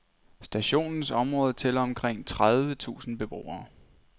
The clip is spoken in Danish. Stationens område tæller omkring tredive tusind beboere.